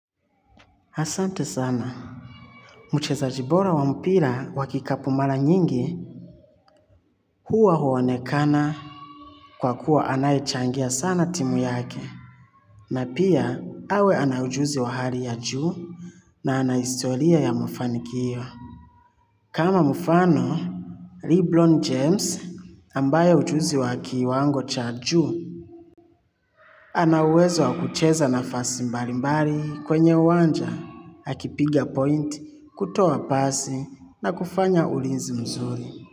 Asante sana. Mchezaji bora wa mpira wakikapu mala nyingi huwa huwonekana kwa kuwa anayechangia sana timu yake na pia awe ana ujuzi wa hali ya juu na anahistoria ya mafanikio. Kama mufano, Leblon James ambaye ujuzi waki wango cha juu, ana uwezo wakucheza nafasi mbalimbali kwenye uwanja akipigia point kutoa pasi na kufanya ulinzi mzuri.